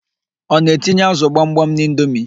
Ọ na-etinye ázụ̀ gbamgbam n'indomi?